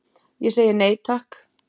Ég segi nei, takk.